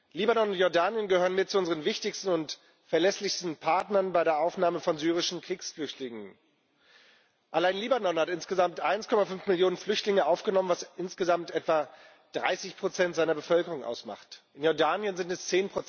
Libanon und Jordanien gehören mit zu unseren wichtigsten und verlässlichsten Partnern bei der Aufnahme von syrischen Kriegsflüchtlingen. Allein Libanon hat insgesamt 1,5 Millionen Flüchtlinge aufgenommen, was insgesamt etwa 30 seiner Bevölkerung ausmacht, in Jordanien sind es